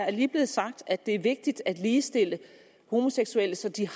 er lige blevet sagt at det er vigtigt at ligestille homoseksuelle så de